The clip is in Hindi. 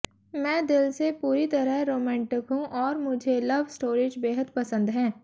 मैं दिल से पूरी तरह रोमांटिक हूं और मुझे लव स्टोरीज बेहद पसंद हैं